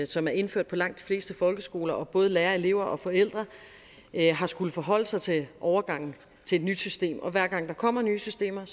som er indført på langt de fleste folkeskoler og både lærere elever og forældre har skullet forholde sig til overgangen til et nyt system og hver gang der kommer nye systemer